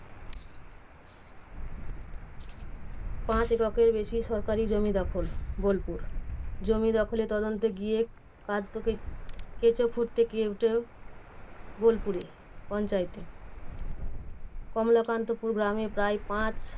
পাঁচ একরের বেশি সরকারি জমি দখল। বোলপুর, জমি দখলের তদন্তে গিয়ে কার্যত কেঁচো খুঁড়তে কেউটেও বোলপুরে পঞ্চায়েতে। কমলাকান্তপুর গ্রামে প্রায় পাঁচ